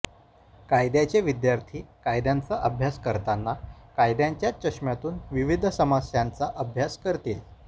कायद्याचे विद्यार्थी कायद्यांचा अभ्यास करताना कायद्यांच्याच चष्म्यातून विविध समस्यांचा अभ्यास करतील